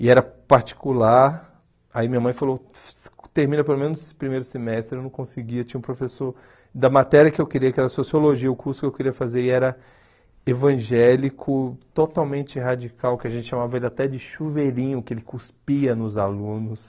E era particular, aí minha mãe falou, termina pelo menos esse primeiro semestre, eu não conseguia, tinha um professor da matéria que eu queria, que era Sociologia, o curso que eu queria fazer, e era evangélico, totalmente radical, que a gente chamava ele até de chuveirinho, que ele cuspia nos alunos.